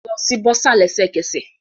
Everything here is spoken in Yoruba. Lọ si bursar lẹsẹkẹsẹ